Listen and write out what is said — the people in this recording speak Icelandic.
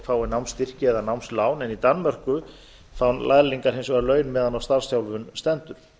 fái námsstyrki eða námslán en í danmörku fá lærlingar hins vegar laun meðan á starfsþjálfun stendur